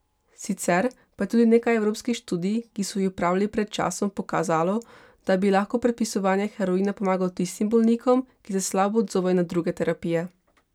Sicer pa je tudi nekaj evropskih študij, ki so jih opravili pred časom, pokazalo, da bi lahko predpisovanje heroina pomagalo tistim bolnikom, ki se slabo odzovejo na druge terapije.